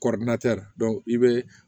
i bɛ